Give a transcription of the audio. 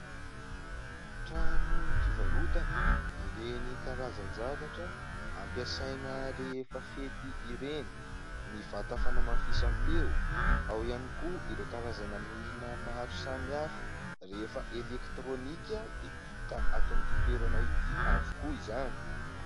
Trano fivarotana ireny karazan-zavatra ampiasaina rehefa fety ireny ny vata fanamafisam-peo, ao ihany koa ireo karazana milina maro samy hafa rehefa elektrônika dia hita ato amin'ity toerana ity avokoa izany.